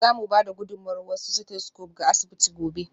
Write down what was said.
Za mu ba da gudummawar wasu stethoscopes ga asibiti gobe.